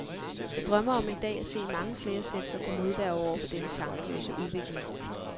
Jeg drømmer om en dag at se mange flere sætte sig til modværge over for denne tankeløse udvikling.